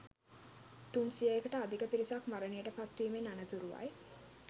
තුන් සියයකට අධික පිරිසක් මරණයට පත්වීමෙන් අනතුරුවයි